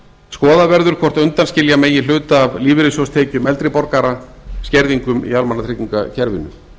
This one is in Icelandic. skoðað verður hvort undanskilja megi hluta af lífeyrissjóðstekjum eldri borgara skerðingum í almannatryggingakerfinu